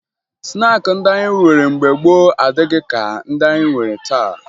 Snaakị ndị anyị nwere mbge gboo adịghị ka ndị anyị nwere taa